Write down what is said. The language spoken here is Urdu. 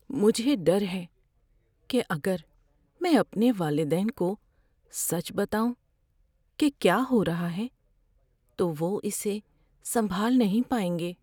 مجھے ڈر ہے کہ اگر میں اپنے والدین کو سچ بتاؤں کہ کیا ہو رہا ہے، تو وہ اسے سنبھال نہیں پائیں گے۔